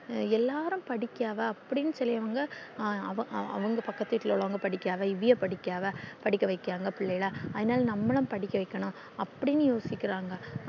எல்லாரும் படிக்கவா அப்டின்னு சொல்லியவங்க அவு அவுங்க பக்கத்து வீட்டுல உள்ளவுங்க படிக்கா இவைய படிக்காத படிக்கவைகாங்க பிள்ளைகள அதுநாளும் நம்மளும் படிக்கவைக்கனும் அப்டின்னு யோசிக்கிறாங்க